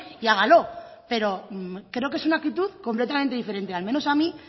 y hágalo pero creo que es una actitud completamente diferente al menos a mí